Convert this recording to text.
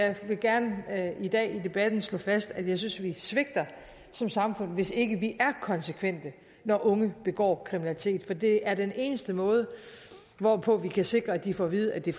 jeg vil gerne i dag i debatten slå fast at jeg synes vi svigter som samfund hvis ikke vi er konsekvente når unge begår kriminalitet for det er den eneste måde hvorpå vi kan sikre at de får at vide at det